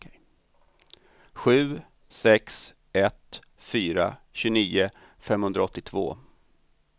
sju sex ett fyra tjugonio femhundraåttioåtta